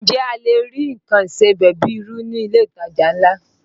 Ǹjẹ́ a lè rí nǹkan ìsebẹ̀ bíi irú ní ilé ìtajà ńlá?